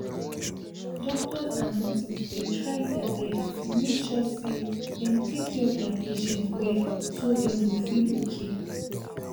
doctors and nurses dey try deir best to make sure say dem take care of deir patient wellso dem go feel okay